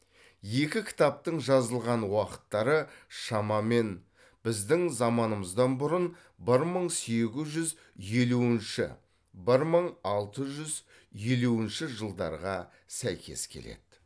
екі кітаптың жазылған уақыттары шамамен біздің заманымыздан бұрын бір мың сегіз жүз елуінші бір мың алты жүз елуінші жылдарға сәйкес келеді